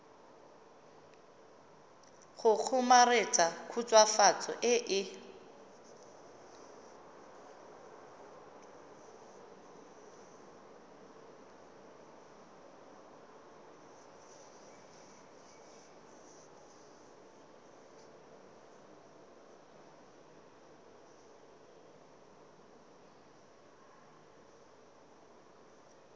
go kgomaretsa khutswafatso e e